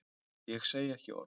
Ég segi ekki orð.